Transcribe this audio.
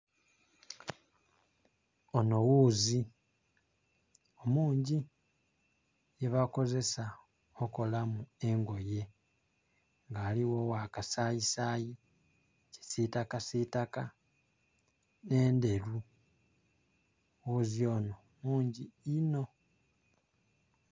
Onho ghuzi mungi gyebakozesa okolamu engoye, nga aligho ogha kasayisaayi, kisitakasitaka, nh'enderu. Ghuzi onho mungi enho.